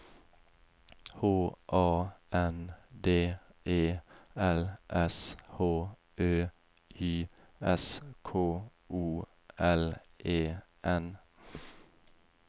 H A N D E L S H Ø Y S K O L E N